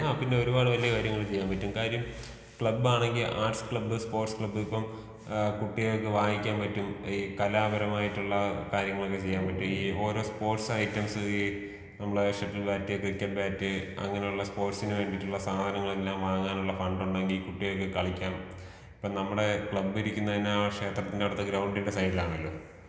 ആ പിന്നെ ഒരുപാട് വലിയ കാര്യങ്ങൾ ചെയ്യാൻ പറ്റും. കാര്യം ക്ലബ് ആണെങ്കി ആർട്സ് ക്ലബ് സ്പോർട്സ് ക്ലബ് ഇപ്പൊ ഏഹ് കുട്ടികൾക്ക് വായിക്കാൻ പറ്റും ഈ കലാപരമായിട്ടുള്ള കാര്യങ്ങോളൊക്കെ ചെയ്യാൻ പറ്റും. ഈ ഓരോ സ്പോർട്സ് ഐറ്റംസ് ഈ നമ്മടെ ഷട്ടിൽ ബാറ്റ്, ക്രിക്കറ്റ് ബാറ്റ്, അങ്ങനെ ഉള്ള സ്പോർട്സ് ന്ന് വേണ്ടീട്ടുള്ള സാധനങ്ങൾ എല്ലാം വാങ്ങാനുള്ള ഫണ്ട് ഉണ്ടെങ്കി കുട്ടികൾക്ക് കളിക്കാൻ. ഇപ്പോ നമ്മടെ ക്ലബ് ഇരിക്കുന്നതന്നെ ആ ഷേത്രത്തിന്റെ അടുത്ത ഗ്രൗണ്ട് ന്റെ സൈഡിൽ ആണലോ?